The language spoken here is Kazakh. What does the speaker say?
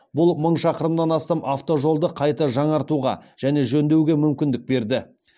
бұл мың шақырымнан астам автожолды қайта жаңартуға және жөндеуге мүмкіндік берді